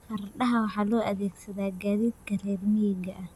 Fardaha waxa loo adeegsadaa gaadiidka reer miyiga ah.